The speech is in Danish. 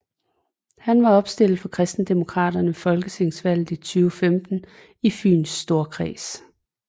Han var opstillet for KristenDemokraterne ved Folketingsvalget 2015 i Fyns Storkreds